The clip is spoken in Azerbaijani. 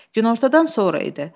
Günortadan sonra idi.